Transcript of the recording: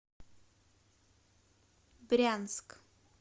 брянск